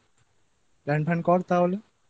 Plan ফ্যান কর তাহলে